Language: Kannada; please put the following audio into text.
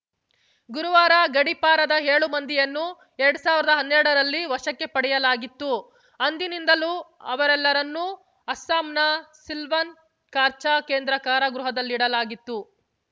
ಗುರುವಾರ ಗಡೀಪಾರಾದ ಏಳು ಮಂದಿಯನ್ನು ಎರಡ್ ಸಾವಿರ್ದಾ ಹನ್ನೆರಡರಲ್ಲಿ ವಶಕ್ಕೆ ಪಡೆಯಲಾಗಿತ್ತು ಅಂದಿನಿಂದಲೂ ಅವರೆಲ್ಲರನ್ನೂ ಅಸ್ಸಾಂನ ಸಿಲ್ವನ್ ಕಾರ್ಚ ಕೇಂದ್ರ ಕಾರಾಗೃಹದಲ್ಲಿಡಲಾಗಿತ್ತು